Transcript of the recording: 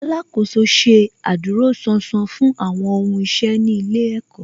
Alákòóso ṣe adúróṣánṣán fún àwọn ohun iṣẹ́ ní ilé ẹ̀kọ́